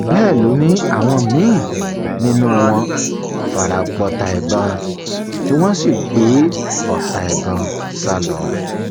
bẹẹ ló ní àwọn míín nínú wọn fara gbọọta ìbọn tí wọn sì gbé ọta ìbọn sá lọ